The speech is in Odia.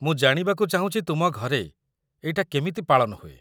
ମୁଁ ଜାଣିବାକୁ ଚାହୁଁଛି ତୁମ ଘରେ ଏଇଟା କେମିତି ପାଳନ ହୁଏ ।